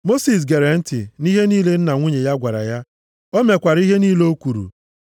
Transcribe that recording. Mosis gere ntị nʼihe niile nna nwunye ya gwara ya. O mekwara ihe niile o kwuru.